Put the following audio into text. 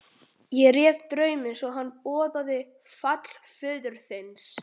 Ég réð drauminn svo að hann boðaði fall föður þíns.